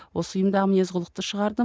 осы ұйымдағы мінез құлықты шығардым